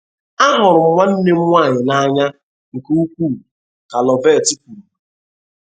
Ahụrụ m nwanne m nwanyị n’anya nke ukwuu ka Loveth kwuru.